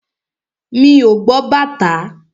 Mi ò gbọ́ bàtá.